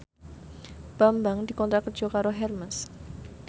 Bambang dikontrak kerja karo Hermes